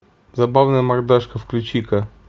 забавная мордашка включи ка